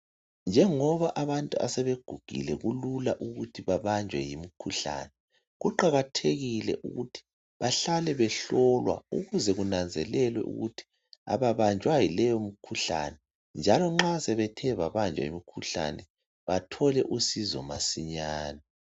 Njengoba abantu asebegugile kulula ukuthi babanjwe yimikhuhlane , kuqakathekile ukuthi bahlale behlolwe ukuze kunanzelelwe ukuthi ababanjwa yileyo mkhuhlane njalo nxa sebethe babanjwa yimikhuhlane bathole usizo masinyane